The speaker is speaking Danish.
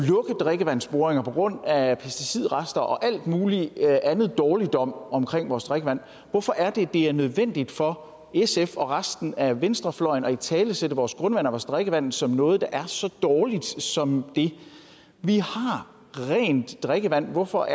drikkevandsboringer på grund af pesticidrester og alt mulig anden dårligdom omkring vores drikkevand hvorfor er det at det er nødvendigt for sf og resten af venstrefløjen at italesætte vores grundvand og vores drikkevand som noget der er så dårligt som det vi har rent drikkevand hvorfor